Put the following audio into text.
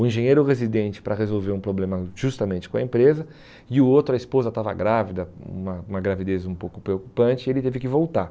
O engenheiro residente para resolver um problema justamente com a empresa e o outro, a esposa estava grávida, uma uma gravidez um pouco preocupante, e ele teve que voltar.